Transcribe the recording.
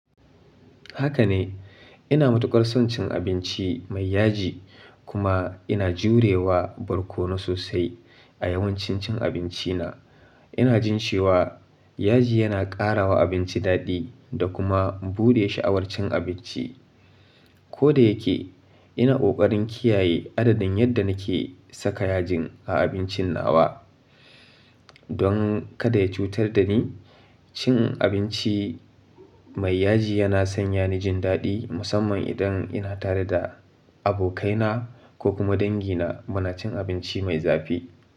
Haka ne, ina matuƙar son cin abinci mai yaji kuma ina jurewa barkono sosai a yawancin cin abinci na. Ina jin cewa yaji yana ƙara wa abinci daɗi da kuma buɗe sha'awar cin abinci. Ko da yake ina ƙoƙarin kiyaye adadin yadda nake saka yajin a abincin nawa don kada ya cutar da ni. Cin abinci mai yaji yana sanya ni jin daɗi musamman idan ina tare da abokaina ko kuma dangi na muna cin abinci mai zafi.